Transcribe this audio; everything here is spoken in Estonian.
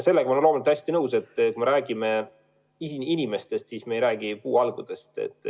Sellega ma olen loomulikult hästi nõus, et kui me räägime inimestest, siis me ei räägi puuhalgudest.